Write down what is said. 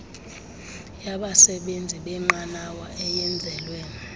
yabasebenzi benqanawa eyenzelwe